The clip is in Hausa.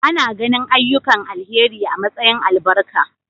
Ana ganin ayyukan alheri a matsayin albarka.